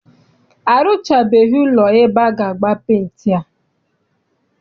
Arụchabeghi ụlọ ebe aga agba penti a.